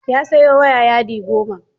Ya sayo waya yadi goma